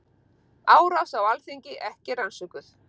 Árás á Alþingi ekki rannsökuð